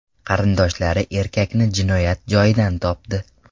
Qarindoshlari erkakni jinoyat joyidan topdi.